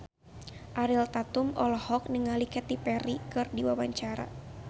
Ariel Tatum olohok ningali Katy Perry keur diwawancara